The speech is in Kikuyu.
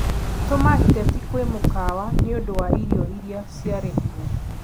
tũma iteti kwĩ mũkawa nĩ ũndũ wa irio iria ciarehirwo